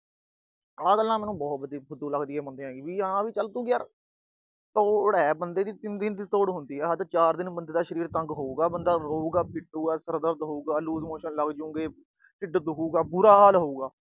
ਆਹ ਗੱਲਾਂ ਮੈਨੂੰ ਬਹੁਤ ਫੁਦੂ ਲੱਗਦੀਆਂ ਬੰਦਿਆਂ ਦੀਆਂ। ਵੀ ਹਾਂ ਤੂੰ ਵੀ ਯਾਰ ਤੋੜ ਆ, ਬੰਦੇ ਦੀ ਤਿੰਨ ਦਿਨ ਦੀ ਤੋੜ ਹੁੰਦੀ ਆ, ਹੱਦ ਚਾਰ ਦਿਨ ਬੰਦੇ ਦਾ ਸਰੀਰ ਤੰਗ ਹੋਊਗਾ, ਬੰਦਾ ਰੋਊਗਾ, ਪਿੱਟੂਗਾ, ਸਿਰ ਦਰਦ ਹੋਊਗਾ, loose motion ਲੱਗਜੂਗੇ, ਢਿੱਡ ਦੁਖੁਗਾ, ਬੁਰਾ ਹਾਲ ਹੋਊਗਾ।